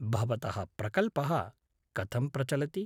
भवतः प्रकल्पः कथं प्रचलति?